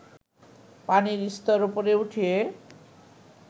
পানির স্তর উপরে উঠিয়ে